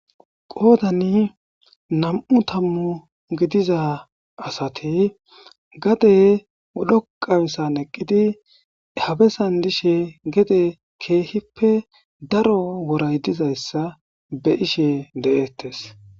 qoodani nam7u tammu gidiza asati gade dhoqasan eqqidi habesan dishe gede keehippe daro woray dizayssa be ishe de7eettes